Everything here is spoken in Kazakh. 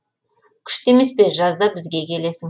күшті емес пе жазда бізге келесің